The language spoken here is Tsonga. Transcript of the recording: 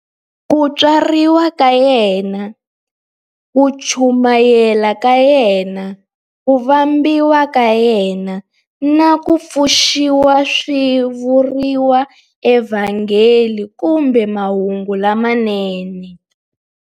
Ku tswariwa ka yena, ku chumayela ka yena, ku vambiwa ka yena, na ku pfuxiwa swi vuriwa eVhangeli kumbe Mahungu lamanene.